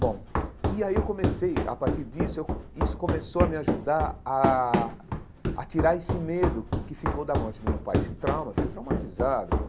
Bom, e aí eu comecei, a partir disso, eu isso começou a me ajudar a a tirar esse medo que que ficou da morte do meu pai, esse trauma, fiquei traumatizado pô.